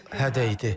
Bu hədə idi.